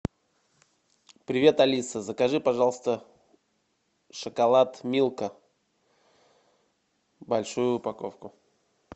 привет алиса закажи пожалуйста шоколад милка большую упаковку